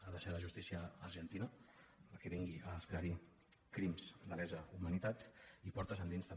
ha de ser la justícia argentina la que vingui a esclarir crims de lesa humanitat i portes endins també